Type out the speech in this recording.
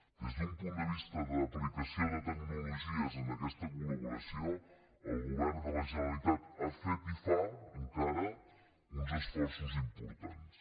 des d’un punt de vista d’aplicació de tecnologies en aquesta col·govern de la generalitat ha fet i fa encara uns esforços importants